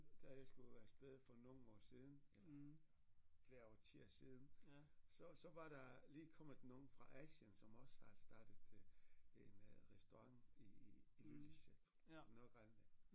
Da jeg skulle af sted for nogle år siden eller flere årtier siden så så var der lige kommet nogle fra Asien som også har startet en øh restaurant i Ilulissat i Nordgrønland